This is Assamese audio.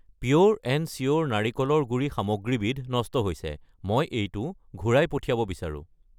পিয়'ৰ এণ্ড চিয়'ৰ নাৰিকলৰ গুড়ি সামগ্ৰীবিধ নষ্ট হৈছে, মই এইটো ঘূৰাই পঠিয়াব বিচাৰোঁ।